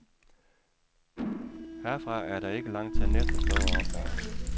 Herfra er der ikke langt til næste store opgave.